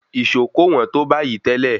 Ìṣó kò wọ́n tó bayìí tẹ́lẹ̀.